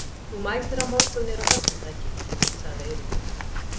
Þú mætir á morgun niður á höfn, er það ekki? sagði Eiríkur.